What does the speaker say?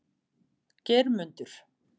Geirmundur